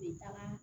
Bɛ taga